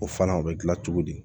O fana o bɛ dilan cogo di